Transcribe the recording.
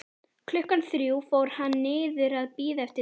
Klukkan þrjú fór hann niður að bíða eftir Tinnu.